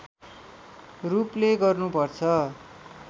रूपले गर्नुपर्छ